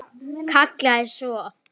Kallaði svo: